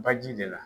Baji de la